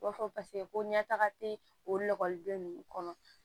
I b'a fɔ paseke ko ɲɛ taga te okɔliden ninnu kɔnɔ